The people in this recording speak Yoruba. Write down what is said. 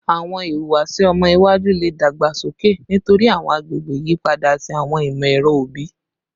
Awọn ihuwasi ọmọ iwaju le dagbasoke nitori awọn agbegbe iyipada ati awọn imọ-ẹrọ obi